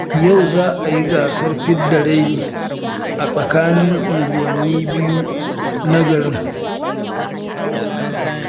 Yau za a yi gasar fidda raini a tsakanin unguwanni biyu na garin